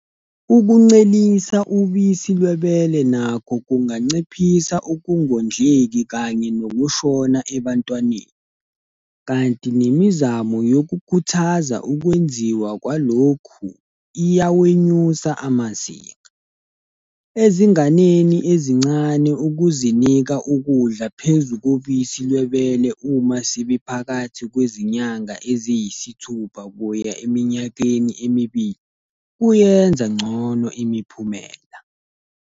Ukuncelisa ubisi lwebele nakho kunganciphisa ukungondleki kanye nokushona ebantwaneni, kanti nemizamo yokukhuthaza ukwenziwa kwalokhu iyawenyusa amazinga. Ezinganeni ezincane ukuzinika ukudla phezu kobisi lwebele uma sebephakathi kwezinyanga eziyisithupha kuya eminyakeni emibili kuyenza ngcono imiphumela.